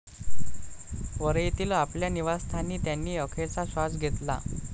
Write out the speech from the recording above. वरळीतील आपल्या निवासस्थानी त्यांनी अखेरचा श्वास घेतला.